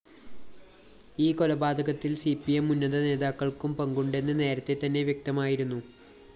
ഈ കൊലപാതകത്തില്‍ C P M ഉന്നത നേതാക്കള്‍ക്കും പങ്കുണ്ടെന്ന്‌ നേരത്തെതന്നെ വ്യക്തമായിരുന്നു